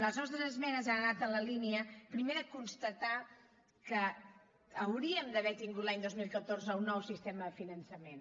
les nostres esmenes han anat en la línia primer de constatar que hauríem d’haver tingut l’any dos mil catorze un nou sistema de finançament